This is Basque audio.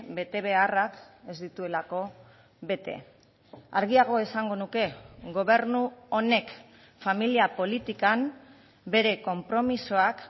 betebeharrak ez dituelako bete argiago esango nuke gobernu honek familia politikan bere konpromisoak